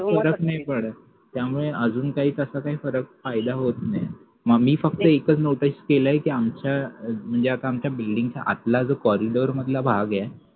त्यामुळे अजून काही तास काही फरक फायदा होत नाही मम्मी फक्त एकच notice केलाय किआमच्या अं म्हणजे आमच्या building च्या आतला जो corridor मधला जो भाग ए